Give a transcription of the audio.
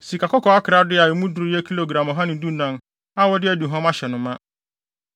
Sikakɔkɔɔ akorade a emu duru yɛ gram ɔha ne dunan (114) a wɔde aduhuam ahyɛ no ma.